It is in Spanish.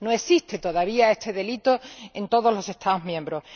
No existe todavía este delito en todos los Estados miembros.